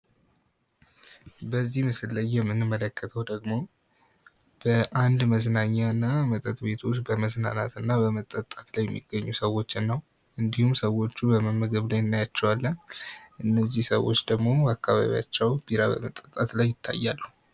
በዚህ ምስል ላይ የምንመለከተው ደግሞ በአንድ መዝናኛ እና መጠጥ ቤቶች በመዝናናት እና በመጠጣት ላይ የሚገኙ ሰዎችን ነው። እንዲሁም ሰዎቹ በመመገብ ላይ እናያቸዋለን። እነዚህ ሰዎች ደግሞ በአካባቢያቸው ቢራ በመጠጣት ላይ ይታያሉ።